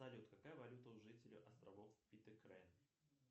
салют какая валюта у жителей островов питэкрэ